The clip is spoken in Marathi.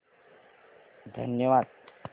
धन्यवाद